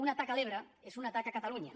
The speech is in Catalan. una taca a l’ebre és una taca a catalunya